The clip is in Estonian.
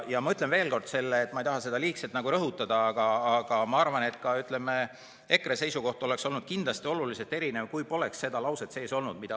Ma ütlen veel kord, ma ei taha seda liigselt rõhutada, aga ma arvan, et ka EKRE seisukoht oleks olnud kindlasti oluliselt erinev, kui poleks seda lauset seal sees olnud.